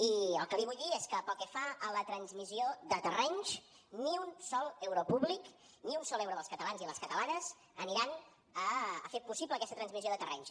i el que li vull dir és que pel que fa a la transmissió de terrenys ni un sol euro públic ni un sol euro dels catalans i les catalanes aniran a fer possible aquesta transmissió de terrenys